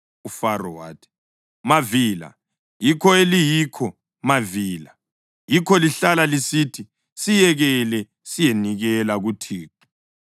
UFaro wathi, “Mavila, yikho eliyikho, mavila! Yikho lihlala lisithi, ‘Siyekele siyenikela kuThixo.’